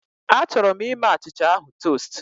Achọrọ m ime achịcha ahụ tost